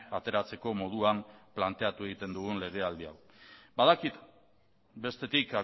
ateratzeko moduan planteatu egiten dugun legealdi hau badakit bestetik